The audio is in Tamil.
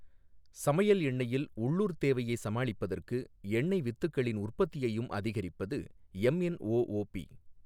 சமையல் எண்ணெயில் உள்ளூர்த் தேவையை சமாளிப்பதற்கு எண்ணெய் வித்துக்களின் உற்பத்தியையும் அதிகரிப்பது எம்என்ஓஓபி.